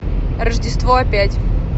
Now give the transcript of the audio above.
рождество опять